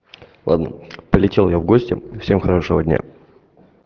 ладно полетел я в гости всем хорошего дня